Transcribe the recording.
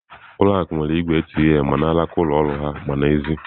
Ụlọ akụ nwere igwe ATM ma n'alaka ụlọ ọrụ ha ma n'èzí.